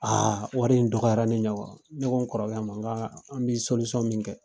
Aa wɔri in dɔgɔyara ne ɲɛ kɔrɔ. Ne ko n kɔrɔkɛ ma ŋaa an be min kɛ